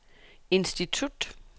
institut